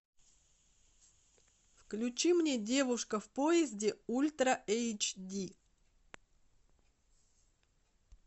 включи мне девушка в поезде ультра эйч ди